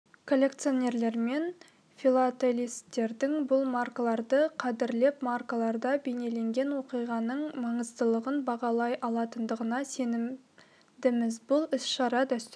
коллекционерлер мен филателисттердің бұл маркаларды қадірлеп маркаларда бейнеленген оқиғаның маңыздылығын бағалай алатындығына сенімдіміз бұл іс-шара дәстүрге